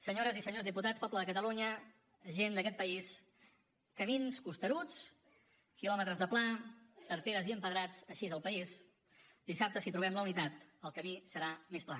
senyores i senyors diputats poble de catalunya gent d’aquest país camins costeruts quilòmetres de pla tarteres i empedrats així és el país dissabte si trobem la unitat el camí serà més pla